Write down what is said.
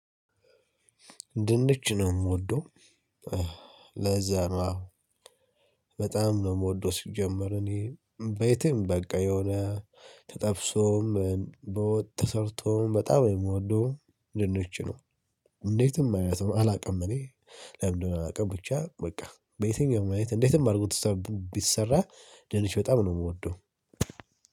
ድንች ነው የምወደው ለዛ ነው በጣም ነው የምወደው። ሲጀመር እኔ በየትም በቃ የሆነ ተጠብሶም በወጥ ተሰርቶም በጣም የምወደውም ድንች ነው እንዴትም ማለት ነው አላውቅም። እኔ ለምን እንደሆነ አላውቅም ብቻ በቃ በየትኛውም አይነት እንዴትም አድርጎ ብሰራ ድንች በጣም ነው የምወደው።